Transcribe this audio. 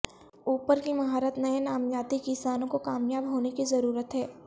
اوپر کی مہارت نئے نامیاتی کسانوں کو کامیاب ہونے کی ضرورت ہے